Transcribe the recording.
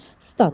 Stat.